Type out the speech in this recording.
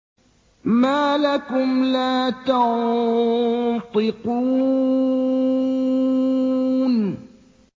مَا لَكُمْ لَا تَنطِقُونَ